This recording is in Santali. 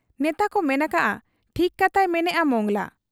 ᱱᱮᱛᱟᱠᱚ ᱢᱮᱱ ᱟᱠᱟᱜ ᱟ ᱴᱷᱤᱠ ᱠᱟᱛᱷᱟᱭ ᱢᱮᱱᱮᱜ ᱟ ᱢᱚᱸᱜᱽᱞᱟ ᱾